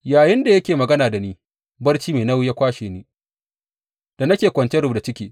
Yayinda yake magana da ni, barci mai nauyi ya kwashe ni, da nake kwance rubda ciki.